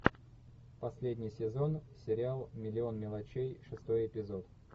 последний сезон сериал миллион мелочей шестой эпизод